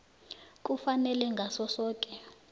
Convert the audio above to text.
kufanele ngaso soke